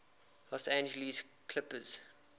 los angeles clippers